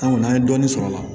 An kɔni an ye dɔɔnin sɔrɔ a la